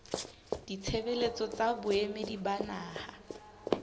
ditshebeletso tsa boemedi ba naha